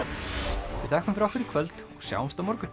við þökkum fyrir okkur í kvöld og sjáumst á morgun